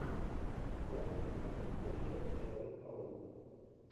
заводи одиннадцатая часть человек паук